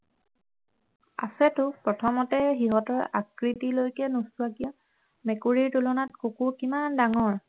আছেতো প্ৰথমতে সিহঁতৰ আকৃতিলৈকে নোচোৱা কিয় মেকুৰীৰ তুলনাত কুকুৰ কিমান ডাঙৰ